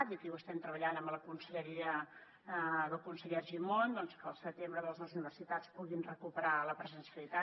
i això ho estem treballant amb la conselleria del conseller argimon que al setembre les universitats puguin recuperar la presencialitat